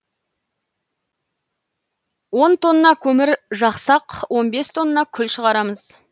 он тонна көмір жақсақ он бес тонна күл шығарамыз